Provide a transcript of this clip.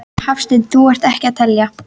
Hafsteinn: Þú ert ekki að telja?